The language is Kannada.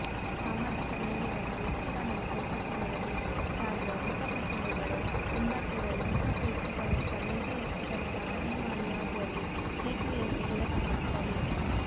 ಸಾಮಾಜಿಕ ಮೌಲ್ಯವನ್ನು ಯಕ್ಷಗಾನದ ಚೌಕಟ್ಟಿನೊಳಗೆ ಸಾರುವ ಹೊಸಪ್ರಸಂಗಗಳು ಒಂದರ್ಥದಲ್ಲಿ ಹೊಸ ಪ್ರೇಕ್ಷಕನೊಬ್ಬ ನೈಜ ಯಕ್ಷಗಾನದ ಅಭಿಮಾನಿಯಾಗುವಲ್ಲಿ ಸೇತುವೆಯಂತೆ ಕೆಲಸಮಾಡುತ್ತವೆ